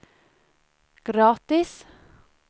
gratis